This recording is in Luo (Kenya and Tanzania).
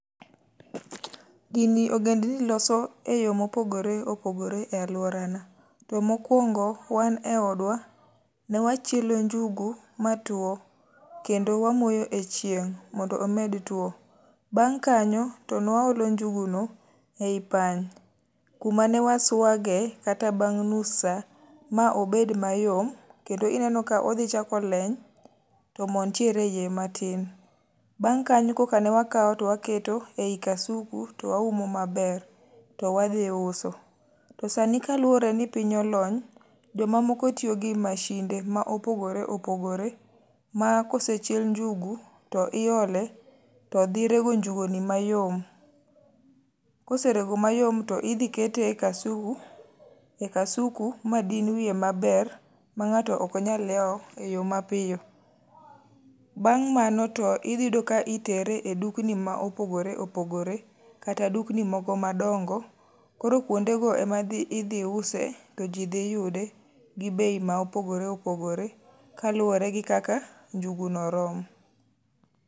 Gini ogendni loso e yo mopogore opogore e alworana. To mokwongo, wan e odwa, ne wachielo njugu ma two, kendo wamoyo e chieng' mondo omed two. Bang' kanyo to ne waolo njugu no ei pany, kuma ne waswage, kata bang' nus sa, ma obed mayom, kendo ineno ka odhi chako leny, to mo nitie e ie matin. Bang' kanyo koka ne wakao to waketo ei kasusku to waumo maber to wadhi uso. To sani kaluwore ni piny olony, jomamoko tiyo gi mashinde ma opogore opogore ma kosechiel njugu to iole, to dhi rego njugu ni mayom. Koserego mayom to idhi kete e kasuku, e kasuku ma din wiye maber, ma ngáto ok nyal yao e yo mapiyo. Bang' mano to iyudo ka itere e dukni ma opogore opogore. Kata dukni moko madongo, koro kuondego ema dhi, idhi use, to ji dhi yude gi bei ma opogore opogore, ka luwore gi kaka njugu no rom.